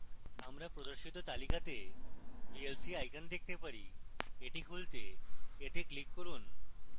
আমরা প্রদর্শিত তালিকাতে vlc icon দেখতে পারি এটি খুলতে এতে ক্লিক করুন